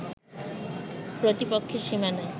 প্রতিপক্ষের সীমানায়